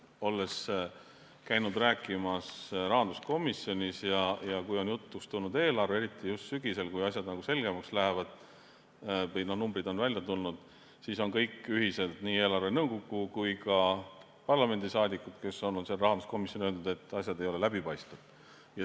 Olen käinud rääkimas rahanduskomisjonis ja kui on jutuks tulnud eelarve, eriti just sügisel, kui asjad selgemaks lähevad või numbrid on välja tulnud, siis on kõik ühiselt, nii eelarvenõukogu kui ka parlamendi liikmed, kes on rahanduskomisjonis, öelnud, et asjad ei ole läbipaistvad.